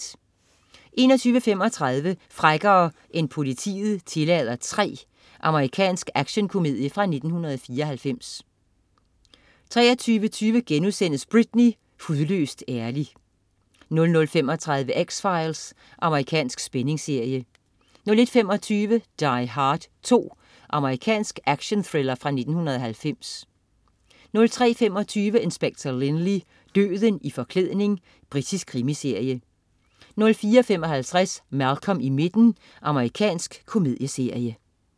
21.35 Frækkere end politiet tillader 3. Amerikansk actionkomedie fra 1994 23.20 Britney. Hudløst ærlig* 00.35 X-Files. Amerikansk spændingsserie 01.25 Die Hard 2. Amerikansk actionthriller fra 1990 03.25 Inspector Lynley: Døden i forklædning. Britisk krimiserie 04.55 Malcolm i midten. Amerikansk komedieserie